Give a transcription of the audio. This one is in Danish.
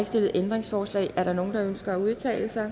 stillet ændringsforslag er der nogen der ønsker at udtale sig